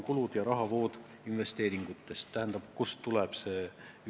Üldsumma tuleb kuludest ja investeeringute rahavoogudest.